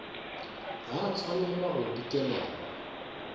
ga a tshwanela go dikelelwa